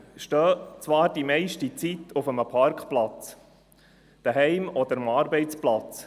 Die Fahrzeuge stehen zwar die meiste Zeit auf einem Parkplatz zu Hause oder am Arbeitsplatz.